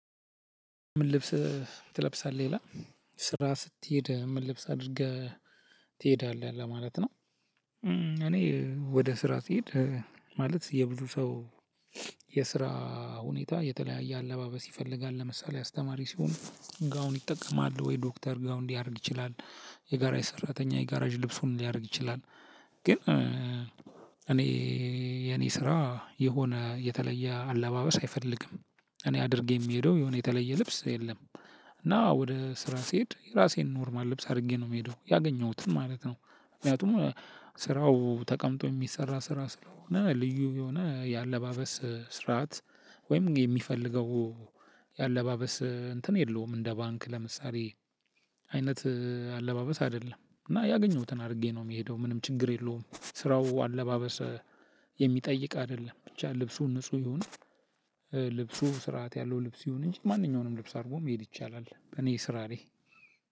ምን ልብስ ትለብሳለህ ይላል? ስራ ስቴድ ምን ልብስ አድርገህ ትሄዳለህ ለማለት ነው። እኔ ወደ ስራ ስሄድ ማለት የብዙ ሰው። የስራ ሁኔታ የተለያየ አለባበስ ይፈልጋል ለምሳሌ አስተማሪ ሲሆን ጋውን ይጠቀማል ወይ ዶክተር ጋውን ሊያደርግ ይችላል። የጋራዥ ሰራተኛ የጋራዥ ልብሱን ሊያደርግ ይችላል። ግን እኔ የኔ ስራ የሆነ የተለየ አለባበስ አይፈልግም። እኔ አድርጌ የምሄደው የሆነ የተለየ ልብስ የለም። እና ወደ ስራ ስሄድ ራሴን ኖርማል ልብስ አድርጌ ነው የምሄደው ያገኘሁትን ማለት ነው። ምክንያቱም ስራው ተቀምጦ የሚሰራ ስራ ስለሆነ ልዩ የሆነ የአለባበስ ስርዓት። ወይም የሚፈልገው የአለባበስ እንትን የለውም። እንደ ባንክ ለምሳሌ አይነት አለባበስ አይደለም። እና ያገኘሁትን አድርጌ ነው የምሄደው ምንም ችግር የለውም። ስራው አለባበስ የሚጠይቅ አይደለም ብቻ ልብሱ ንጹህ ይሁን። ልብሱ ስርዓት ያለው ልብስ ይሁን እንጂ ማንኛውንም ልብስ አድርጎ መሄድ ይቻላል በኔ ስራ ላይ።